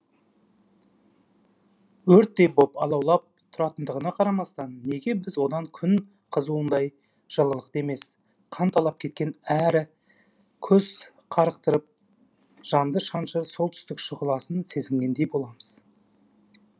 өрттей боп алаулап тұратындығына қарамастан неге біз одан күн қызуындай жылылықты емес қанталап кеткен әрі көз қарықтырып жанды шаншыр солтүстік шұғыласын сезінгендей боламыз